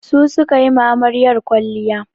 Su su ka yi ma amaryar kwalliya.